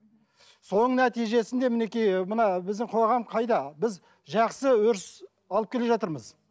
соның нәтижесінде мінекей мына біздің қоғам қайда біз жақсы өріс алып келе жатырмыз